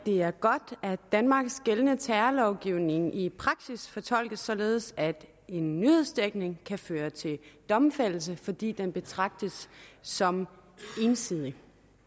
det er godt at danmarks gældende terrorlovgivning i praksis fortolkes således at en nyhedsdækning kan føre til domfældelse fordi den betragtes som ensidig